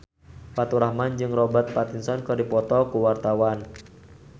Faturrahman jeung Robert Pattinson keur dipoto ku wartawan